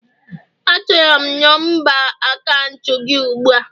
Achọrọ m nọmba akaụntụ gi ugbu a!